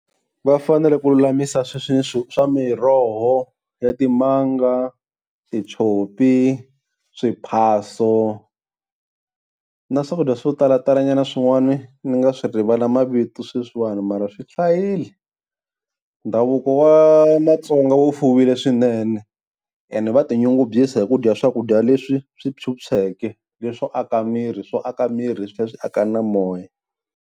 Va fanele ku lulamisa sweswi swa miroho ya timanga, titshopi, swiphaswo na swakudya swo tala talanyana swin'wana ni nga swi rivala mavito sweswiwa mara swi hlayile. Ndhavuko wa Matsonga wo fuwile swinene and va tinyungubyisa hi ku dya swakudya leswi swi phyuphyeke leswo aka miri swo aka miri swi tlhela swi aka na moya.